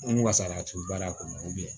N wasalati baara kɔnɔ